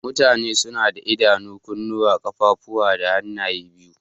Mutane suna da Idanu, kunuwa, kaffafuwa da hanaye biyu.